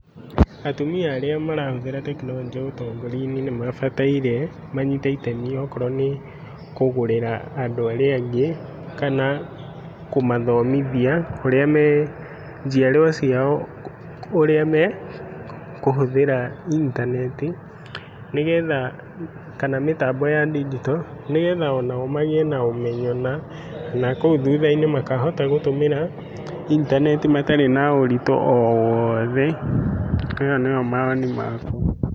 Atumia arĩa marahũthĩra tekinoronjĩ ũtongoria-inĩ nĩmabataire manyite itemi okorwo nĩ kũgũrĩra andũ arĩa angĩ kana kũmathomithia ũrĩa me njĩarwa ciao ũrĩa mekũhũthĩra intaneti, nĩgetha kana mĩtambo ya ndigito nĩgetha onao magĩe na ũmenyo na nakũu thutha-inĩ makahota gũtũmĩra intaneti matarĩ na ũritũ o wothe. Ĩyo nĩ yo maoni makwa.